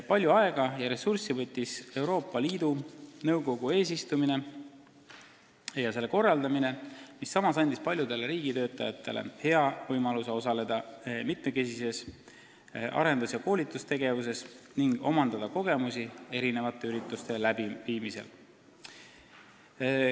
Palju aega ja ressurssi võttis Euroopa Liidu Nõukogu eesistumise korraldamine, mis samas andis paljudele riigitöötajatele hea võimaluse osaleda mitmekesises arendus- ja koolitustegevuses ning omandada kogemusi erinevate ürituste läbiviimisel.